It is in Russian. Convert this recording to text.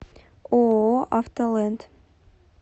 ооо автоленд